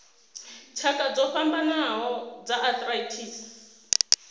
tshakha dzo fhambanaho dza arthritis